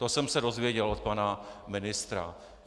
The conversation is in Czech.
To jsem se dozvěděl od pana ministra.